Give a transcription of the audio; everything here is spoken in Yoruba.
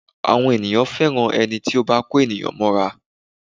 Àwọn ènìyàn fẹ́ràn ẹni tí ó bá kó ènìyàn mọ́ra